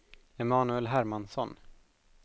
Emanuel Hermansson